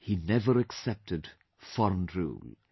He never accepted foreign rule